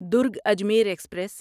Durg Ajmer express